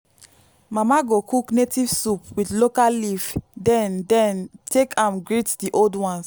mama go cook native soup with local leaf then then take am greet the old ones.